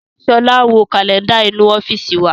Sọlá ń wo Kálẹ́ndà inú ọ́fíìsì wa